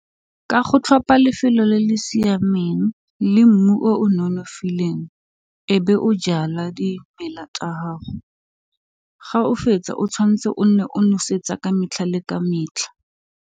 Ka go tlhopha lefelo le le siameng le mmu o nonofileng e be o jala dimela tsa gago, ga o fetsa o tshwantse o nne o nosetsa ka metlha le ka metlha.